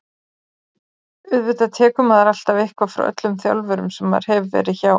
Auðvitað tekur maður alltaf eitthvað frá öllum þjálfurum sem maður hefur verið hjá.